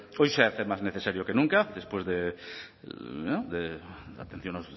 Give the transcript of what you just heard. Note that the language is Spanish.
hoy se hace más necesario que nunca después de la atención